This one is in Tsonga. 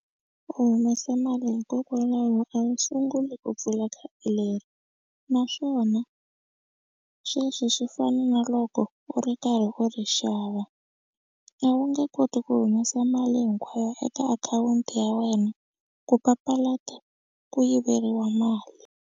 U humesa mali hikokwalaho a wu sunguli ku pfula khadi leri naswona sweswi swi fana na loko u ri karhi u ri xava. A wu nge koti ku humesa mali hinkwayo eka akhawunti ya wena ku papalata ku yiveriwa mali.